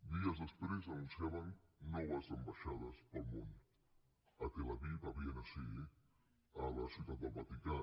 dies després anunciaven noves ambaixades pel món a tel aviv a viena sí a ciutat del vaticà